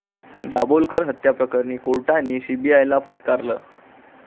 दाभोलकर हत्येप्रकरणी कोर्टाने सीबीआयला फटकारलं